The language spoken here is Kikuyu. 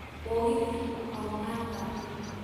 Mũgĩthi ũkauma thaa imwe